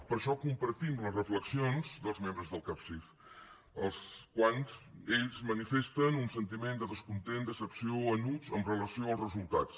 per això compartim les reflexions dels membres del capsif els quals ells manifesten un sentiment de descontent decepció enuig amb relació als resultats